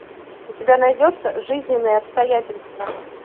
у тебя найдется жизненные обстоятельства